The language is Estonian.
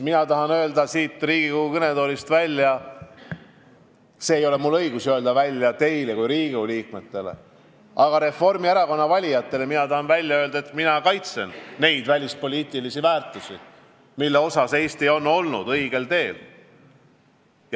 Mina tahan öelda siit Riigikogu kõnetoolist – mul ei ole õigus öelda seda teile kui Riigikogu liikmetele, aga võin seda öelda Reformierakonna valijatele –, et mina kaitsen neid välispoliitilisi väärtusi, mille poole püüeldes Eesti on olnud õigel teel.